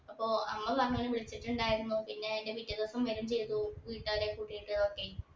അപ്പോ അമ്മ പറഞ്ഞു വിളിച്ചിട്ട്ണ്ടായിരുന്നു പിന്നെ പിറ്റേദിവസം വരികയും ചെയ്തു വീട്ടുകാരെയൊക്കെ കിട്ടിയിട്ട് ഓകെ